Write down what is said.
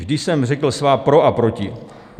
Vždy jsem řekl svá pro a proti.